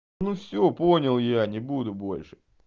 ну все понял я не буду больше